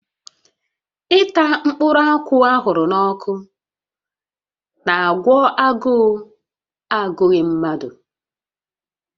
Ịta mkpụrụ akwụ a ahụrụ n'ọkụ n'àgwọ́ agụụ agụghị mmadụ